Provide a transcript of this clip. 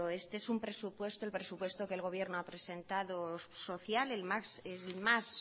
este es un presupuesto el presupuesto que el gobierno ha presentado social el más